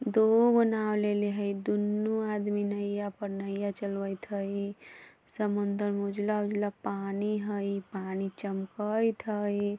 दु गो नाव लेले है दुनू आदमी नइया पर नइया चलवेत हई समुंदर में उजला उजला पानी हई पानी चमकएत हई।